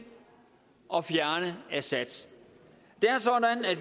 og fjerne assad